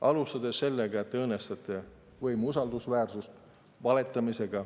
Alustades sellest, et valetamisega õõnestatakse võimu usaldusväärsust.